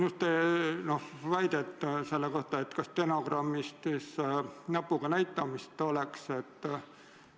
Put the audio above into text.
Kuulsin just väidet, et stenogrammis näpuga näitamist ei ole fikseeritud.